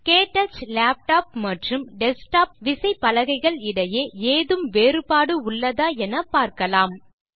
க்டச் laptop மற்றும் desktop விசைப்பலகைகள் இடையே ஏதும் வேறுபாடு உள்ளதா என பார்க்கலாம்